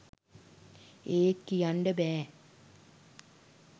ඒත් කියන්ඩ බෑ